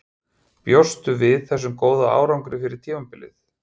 Bjóstu við þessum góða árangri fyrir tímabilið?